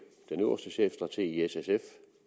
den øverste chefstrateg i s sf